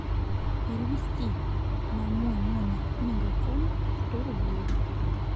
перевести на мой номер мегафон сто рублей